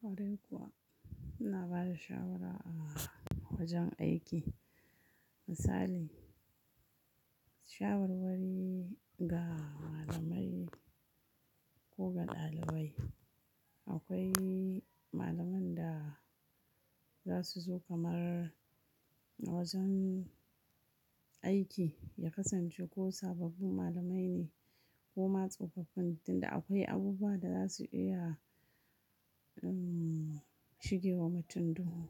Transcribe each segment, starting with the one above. Kwarai kuwa ina bada shawara a wajen aiki misali shawarwari ga malamai ko ga ɗalibai. Akwai malaman da za su zo kamar a wajen aiki ya kasance ko sababbin malamai ne ko matsofaffin tunda akwai abubuwa da za su iya umm shigewa mutum duhu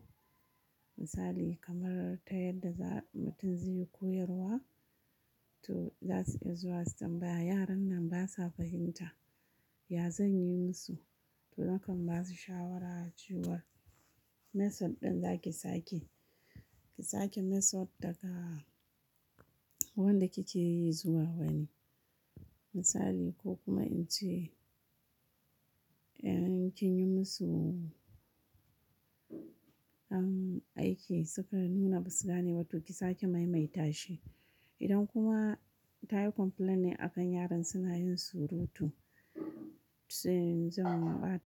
misali kamar ta yadda za'a mutum zai yi koyarwa to za su iya zuwa su tambaya yaran nan basa fahimta ya zan yi musu? To nakan ba su shawara cewa method ɗin za ki sake ki sake method daga wanda kike yi zuwa wani misali ko kuma in ce in kin yi musu an aiki suka nuna ba su gane ba to ki sake maimaita shi. Idan kuma ta yi complain ne a kan yaran suna yin surutu to sai in zai mm ba.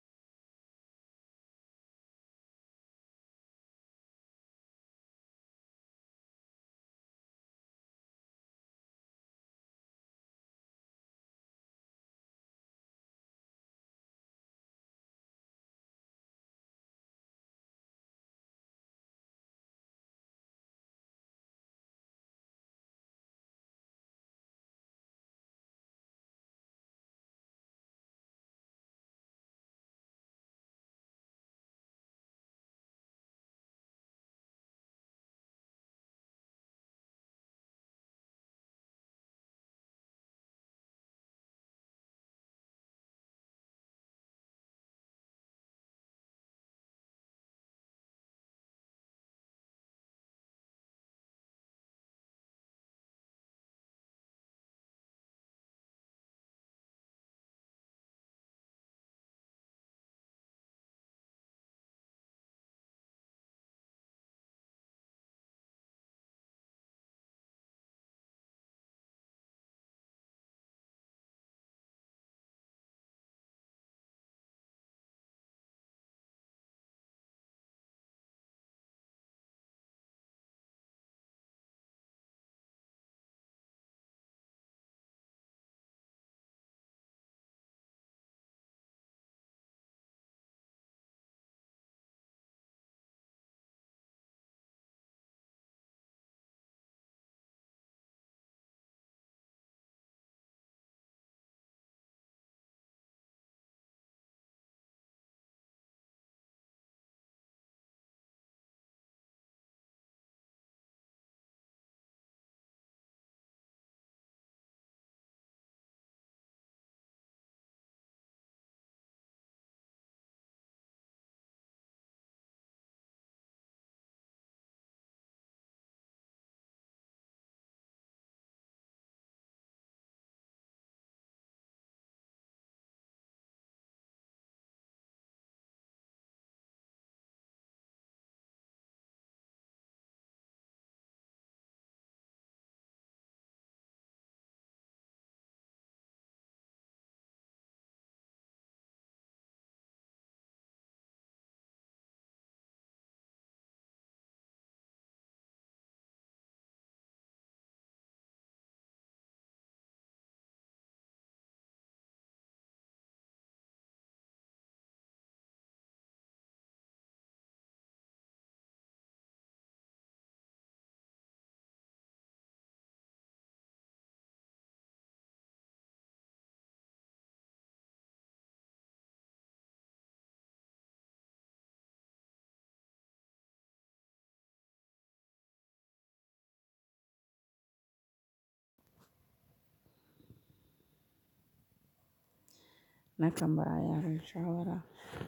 Nakan ba yaron shawara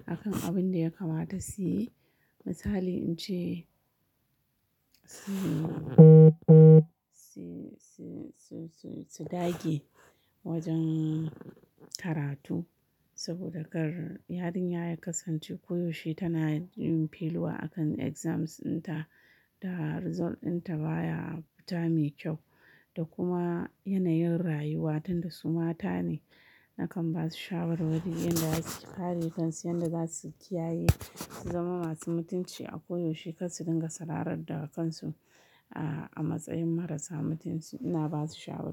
a kan abin da ya kamata siyi misali in ce su su su su dage wajen karatu saboda kar yarinya ya kasance koyaushe tana yin failure a kan exams ɗinta da result ɗinta baya futa mai kyau da kuma yanayin rayuwa tunda su mata ne nakan ba su shawarwari yanda za su yi kare kansu yanda za su kiyaye su zama masu mutunci a koyaushe kar su dinga sararar da kansu aa a matsayin marasa mutunci ina ba su shawarwa.